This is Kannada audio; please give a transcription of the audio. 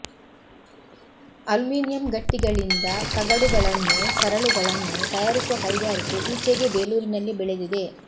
ಅಲ್ಯೂಮಿನಿಯಂ ಗಟ್ಟಿಗಳಿಂದ ತಗಡುಗಳನ್ನೂ ಸರಳುಗಳನ್ನೂ ತಯಾರಿಸುವ ಕೈಗಾರಿಕೆ ಈಚೆಗೆ ಬೇಲೂರಿನಲ್ಲಿ ಬೆಳೆದಿದೆ